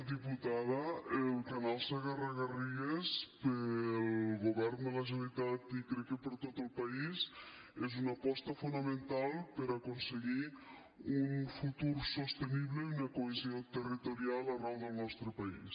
diputada el canal segarra garrigues per al govern de la generalitat i crec que per a tot el país és una aposta fonamental per a aconseguir un futur sostenible i una cohesió territorial arreu del nostre país